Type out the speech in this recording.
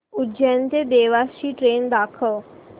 उज्जैन ते देवास ची ट्रेन दाखव